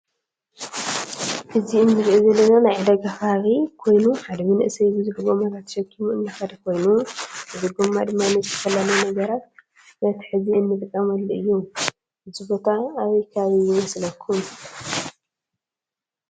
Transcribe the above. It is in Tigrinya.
እዚ እንሪኦ ዘለና ናይ ዕዳጋ ከባቢ ኮይኑ ሓደ መንእሰይ ብዝሕ ጎማታት ተሸኪሙ እናከደ ኮይኑ እዚ ጎማ ድማ ንዝተፈላለዩ ነገራት መትሐዚ እንጥቀመሉ እዩ። እዚ ቦታ አበየ ከባቢ ይመስለኩም?